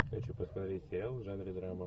хочу посмотреть сериал в жанре драма